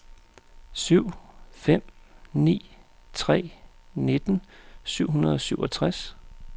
syv fem ni tre nitten syv hundrede og syvogtres